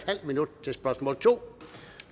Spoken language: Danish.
halv minut til spørgsmål to